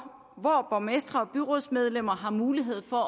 hvor borgmestre og byrådsmedlemmer har mulighed for